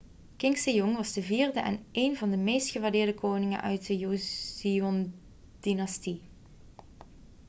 king sejong was de vierde en één van de meest gewaardeerde koningen uit de joseondynastie